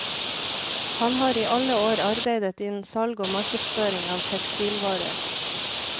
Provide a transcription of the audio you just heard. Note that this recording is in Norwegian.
Han har i alle år arbeidet innen salg og markedsføring av tekstilvarer.